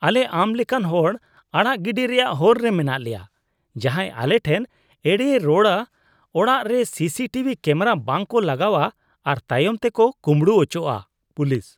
ᱟᱞᱮ ᱟᱢ ᱞᱮᱠᱟᱱ ᱦᱚᱲ ᱟᱲᱟᱜ ᱜᱤᱰᱤ ᱨᱮᱭᱟᱜ ᱦᱚᱨ ᱨᱮ ᱢᱮᱱᱟᱜ ᱞᱮᱭᱟ ᱡᱟᱦᱟᱸᱭ ᱟᱞᱮ ᱴᱷᱮᱱ ᱮᱲᱮᱭ ᱨᱚᱲᱟ, ᱚᱲᱟᱜ ᱨᱮ ᱥᱤᱥᱤ ᱴᱤᱵᱷᱤ ᱠᱮᱢᱵᱨᱟ ᱵᱟᱝ ᱠᱚ ᱞᱟᱜᱟᱣᱟ ᱟᱨ ᱛᱟᱭᱚᱢ ᱛᱮᱠᱚ ᱠᱩᱸᱵᱲᱩ ᱟᱪᱚᱜᱼᱟ ᱾ (ᱯᱩᱞᱤᱥ)